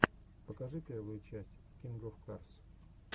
покажи первую часть кинг оф карс